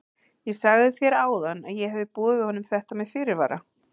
Ég sagði þér áðan að ég hefði boðið honum þetta með fyrirvara.